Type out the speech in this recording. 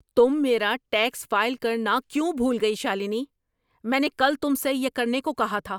تم میرا tax file کرنا کیوں بھول گئی، شالنی؟ میں نے کل تم سے یہ کرنے کو کہا تھا۔